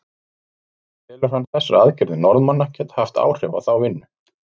En telur hann þessar aðgerðir Norðmanna geta haft áhrif á þá vinnu?